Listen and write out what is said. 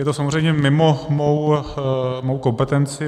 Je to samozřejmě mimo mou kompetenci.